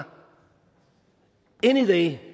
anyday